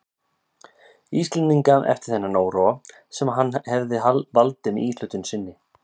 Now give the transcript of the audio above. Íslendinga eftir þann óróa, sem hann hefði valdið með íhlutun sinni.